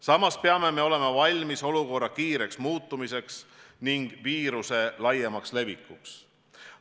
Samas peame olema valmis olukorra kiireks muutumiseks ning viiruse laiemaks levikuks.